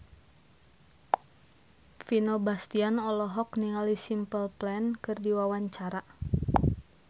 Vino Bastian olohok ningali Simple Plan keur diwawancara